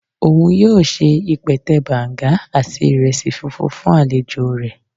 Oun yoo se ipẹtẹ Banga ati iresi funfun fun alejo rẹ